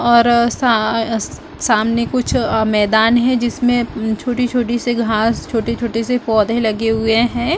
और साआा सामने कुछ मैदान है जिसमे छोटी छोटी सी घास छोटे छोटे से पौधे लगे हुए है।